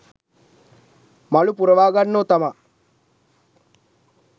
මලු පුරවාගන්නෝ තමා.